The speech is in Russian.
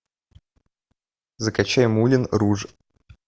закачай мулен руж